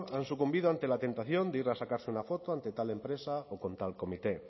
han sucumbido ante la tentación de ir a sacarse una foto ante tal empresa o contra el comité